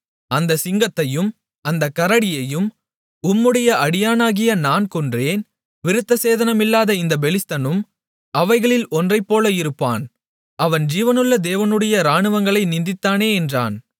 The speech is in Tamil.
அந்தச் சிங்கத்தையும் அந்தக் கரடியையும் உம்முடைய அடியானாகிய நான் கொன்றேன் விருத்தசேதனமில்லாத இந்தப் பெலிஸ்தனும் அவைகளில் ஒன்றைப் போல இருப்பான் அவன் ஜீவனுள்ள தேவனுடைய இராணுவங்களை நிந்தித்தானே என்றான்